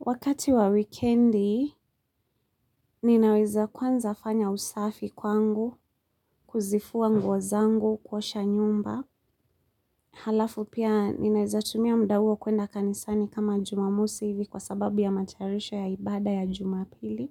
Wakati wa wikendi ninaweza kwanza fanya usafi kwangu kuzifua nguo zangu kuosha nyumba. Halafu pia, ninaweza tumia muda huo kuenda kanisani kama jumamosi hivi kwa sababu ya matayarisho ya ibada ya jumapili.